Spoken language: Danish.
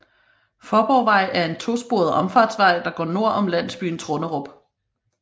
Faaborgvej er en to sporet omfartsvej der går nord om landsbyen Trunderup